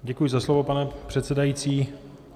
Děkuji za slovo, pane předsedající.